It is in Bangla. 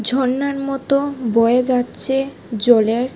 ঝর্নার মতো বয়ে যাচ্ছে জলের--